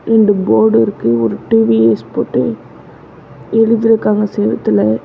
ரெண்டு போர்டு இருக்கு ஒரு டி_வி_எஸ்னு போட்டு எழுதிருக்காங்க செவுத்துல.